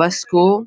बस को --